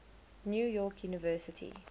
new york university